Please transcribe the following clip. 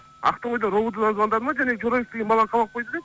ақтоғайдан ровд дан звондады ма жаңағы жорабек деген баланы қамап қойды деп